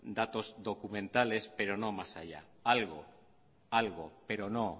datos documentales pero no más allá algo algo pero no